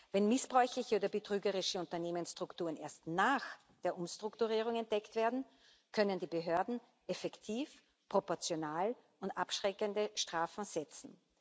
Wenn missbräuchliche oder betrügerische Unternehmensstrukturen erst nach der Umstrukturierung entdeckt werden, können die Behörden effektiv, proportional und abschreckend Strafen setzen.